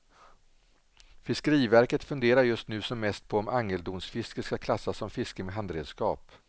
Fiskeriverket funderar just nu som mest på om angeldonsfiske skall klassas som fiske med handredskap.